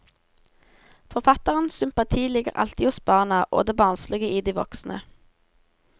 Forfatterens sympati ligger alltid hos barna og det barnslige i de voksne.